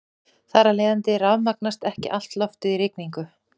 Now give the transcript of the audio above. Þar af leiðandi rafmagnast ekki allt loftið í rigningu.